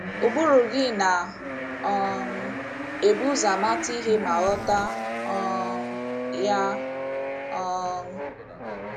Ụbụrụ gị na - um ebu ụzọ amata ihe ma ghọta um ya. um